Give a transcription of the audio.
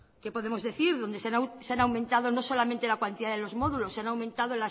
qué podemos decir donde se han aumentado no solamente la cuantía de los módulos se han aumentado